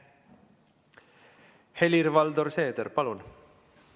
Helir-Valdor Seeder, palun!